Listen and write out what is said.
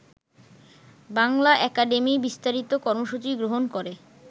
Bangla academy বিস্তারিত কর্মসূচি গ্রহণ করে